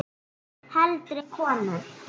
Heldri konur